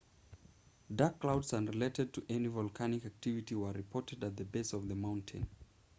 dark clouds unrelated to any volcanic activity were reported at the base of the mountain